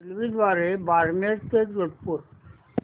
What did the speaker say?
रेल्वेद्वारे बारमेर ते जोधपुर